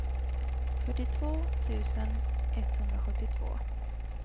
fyrtiotvå tusen etthundrasjuttiotvå